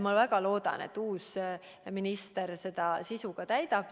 Ma väga loodan, et uus minister selle sisuga täidab.